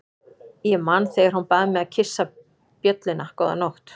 Ég man þegar hún bað mig að kyssa bjölluna góða nótt.